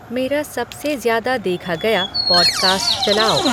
मेरा सबसे ज्यादा देखा गया पॉडकास्ट चलाओ